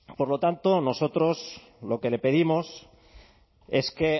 por lo tanto nosotros lo que le pedimos es que